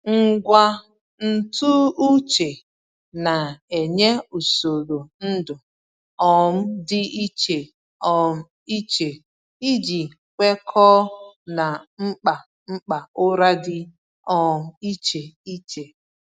Ngwa ntụ uche na-enye usoro ndu um dị iche um iche iji kwekọọ na mkpa mkpa ụra dị um iche iche.